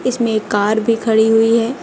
इसमे कार भी खड़ी हुई है।